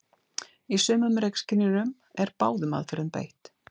Í sumum reykskynjurum er báðum aðferðum beitt.